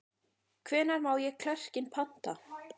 Hvenær má ég klerkinn panta?